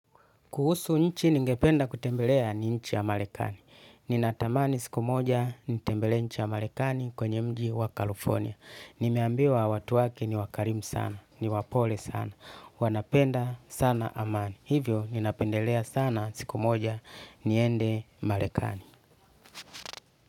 Kuhusu nchi ningependa kutembelea ni nchi ya marekani. Ninatamani siku moja nitembelee nchi ya marekani kwenye mji wa California. Nimeambiwa watu wake ni wakarimu sana, ni wapole sana. Wanapenda sana amani. Hivyo ninapendelea sana siku moja niende marekani.